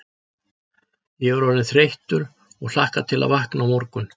Ég er orðinn þreyttur og hlakka til að vakna á morgun.